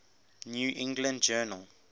new england journal